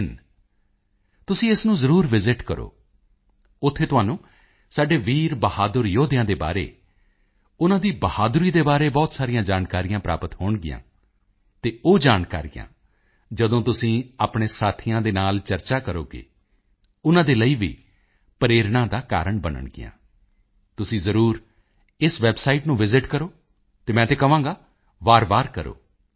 in ਤੁਸੀਂ ਇਸ ਨੂੰ ਜ਼ਰੂਰ ਵਿਸਿਤ ਕਰੋ ਉੱਥੇ ਤੁਹਾਨੂੰ ਸਾਡੇ ਵੀਰ ਬਹਾਦਰ ਯੋਧਿਆਂ ਦੇ ਬਾਰੇ ਉਨ੍ਹਾਂ ਦੀ ਬਹਾਦਰੀ ਦੇ ਬਾਰੇ ਬਹੁਤ ਸਾਰੀਆਂ ਜਾਣਕਾਰੀਆਂ ਪ੍ਰਾਪਤ ਹੋਣਗੀਆਂ ਅਤੇ ਉਹ ਜਾਣਕਾਰੀਆਂ ਜਦੋਂ ਤੁਸੀਂ ਆਪਣੇ ਸਾਥੀਆਂ ਦੇ ਨਾਲ ਚਰਚਾ ਕਰੋਗੇ ਉਨ੍ਹਾਂ ਦੇ ਲਈ ਵੀ ਪ੍ਰੇਰਣਾ ਦਾ ਕਾਰਣ ਬਣਨਗੀਆਂ ਤੁਸੀਂ ਜ਼ਰੂਰ ਇਸ ਨੂੰ ਕਰੋ ਅਤੇ ਮੈਂ ਤੇ ਕਹਾਂਗਾ ਵਾਰਵਾਰ ਕਰੋ